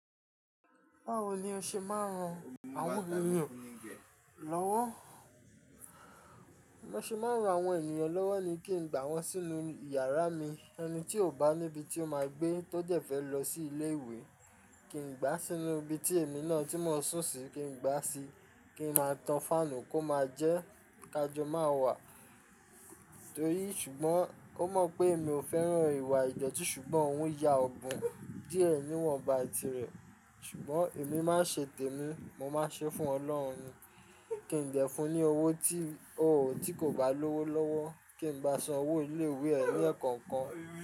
Báwo ni o ṣe máa ń ran àwọn ènìyàn lọ́wọ́? Bi mo ṣe máa ń ran àwọn ènìyàn lọ́wọ́ ni kí n gbà wọ́n sínú yàrá mi. Ẹni tí ò bá níbi tí ó máa gbé tó dẹ́ fẹ́ lọ sí ilé ìwé, kí n gbá sínú ibi tí èmi náà tí mò ń sùn sí kí n gbá sí, kí n máa tan fáànù kó máa jẹ́ ká jọ máa wà. Torí ṣùgbọ́n ó mọ̀ pé mi ò fẹ́ràn ìwà ìdoti ṣùgbọ́n òun ya ọbun díẹ̀ níwọ̀nba tirẹ̀. Ṣùgbọ́n èmi má ṣe tèmi, mo máa ṣe fún Ọlọ́run. Kí n jẹ fún un ní owó tí, oò tí kò bá lówó lọ́wọ́ kí n bá san owó ilé ìwé ẹ ní ẹ̀kọ́ kan.